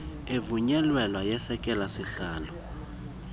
evunyelweyo yesekela sihalo